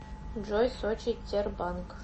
джой сочи тербанк